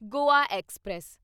Goa express